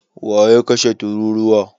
waye ya kashe tururuwa?